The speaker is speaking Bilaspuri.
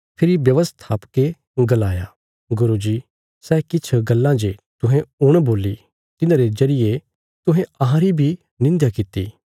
फेरी व्यवस्थापकें गलाया गुरू जी सै किछ गल्लां जे तुहें हुण बोल्ली तिन्हारे जरिये तुहें अहांरी बी निंध्या किति